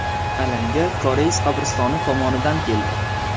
Alanga koreys qabristoni tomonidan keldi.